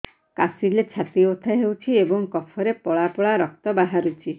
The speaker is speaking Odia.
କାଶିଲେ ଛାତି ବଥା ହେଉଛି ଏବଂ କଫରେ ପଳା ପଳା ରକ୍ତ ବାହାରୁଚି